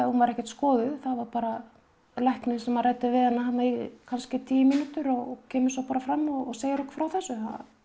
hún var ekkert skoðuð bara læknir sem ræddi við hana í kannski tíu mínútur og kemur fram og segir okkur frá þessu